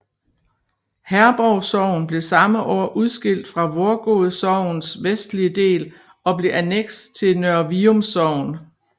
Herborg Sogn blev samme år udskilt fra Vorgod Sogns vestlige del og blev anneks til Nørre Vium Sogn